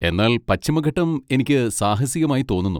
എന്നാൽ പശ്ചിമഘട്ടം എനിക്ക് സാഹസികമായി തോന്നുന്നു.